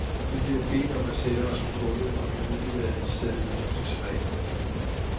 Vi blev bedt om at sætte os på gulvet og fik udleveret en seddel med husets regler.